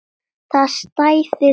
Það stæði betur að vígi.